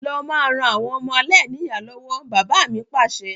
Lọ máa ràn àwọn ọmọ aláìníya lọ́wọ́! Bàbá mi Pàṣẹ.